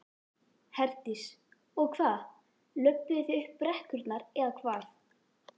Herdís: Og hvað, löbbuðu þið upp brekkurnar eða hvað?